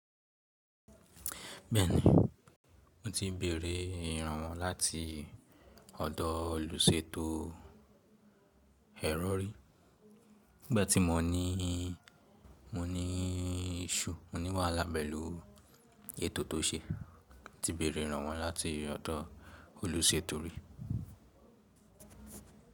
Bẹ́ẹ̀ni, mo ti béèrè ìrànwọ́ láti ọ̀dọ̀ olùṣètò ẹ̀rọ rí. Nígbà tí mo ní, mo ní issue. Mo ní wàhálà pẹ̀lú ètò tó ṣe, mo ti béèrè ìrànwọ́ láti ọ̀dọ̀ olùṣètò rí.